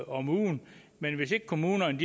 om ugen men hvis ikke kommunerne